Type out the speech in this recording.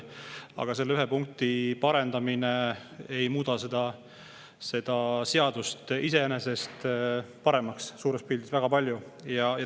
Aga selle ühe punkti parendamine ei muuda suures pildis seadust väga palju paremaks.